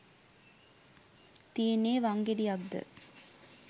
තියෙන්නේ වංගෙඩියක්ද